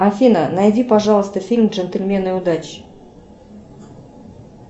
афина найди пожалуйста фильм джентльмены удачи